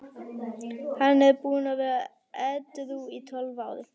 Hann er búinn að vera edrú í tólf ár.